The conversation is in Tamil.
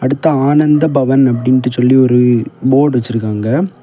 அடுத்து ஆனந்த பவன் அப்டின்ட்டு சொல்லி ஒரு போர்டு வச்சிருக்காங்க.